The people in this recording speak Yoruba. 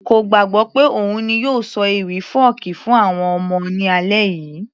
kò gbàgbọ́ pé òun ni yóò ṣọ ewì fọ́ọ̀kí fún àwọn ọmọ ní alẹ́ yìí